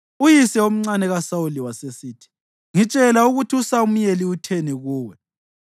Uyise omncane kaSawuli wasesithi, “Ngitshela ukuthi uSamuyeli utheni kuwe.”